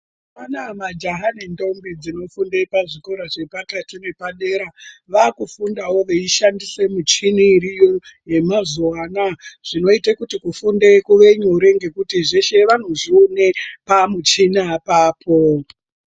Mazuva anaa majaha nendombi dzinofunde pazvikora zvedera vaakufundavo veishandise michini iriyo yemazuvaanaya zvinoite kuti kufunda kunge nyore ngendaa yekuti zveshe vanozvione pamuchina apapo.